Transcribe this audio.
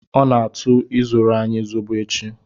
I na-atụ ịzụrụ anyị Zobo echi.